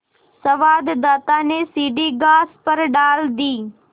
संवाददाता ने सीढ़ी घास पर डाल दी